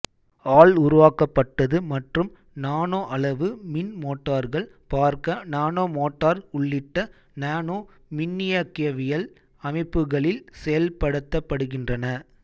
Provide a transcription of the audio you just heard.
all உருவாக்கப்பட்டது மற்றும் நானோஅளவு மின் மோட்டார்கள் பார்க்க நானோமோட்டார் உள்ளிட்ட நானோமின்னியக்கவியல் அமைப்புகளில் செயல்படுத்தப்படுகின்றன